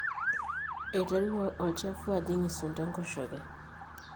eiterru olchafu ajing isunda enkoshoke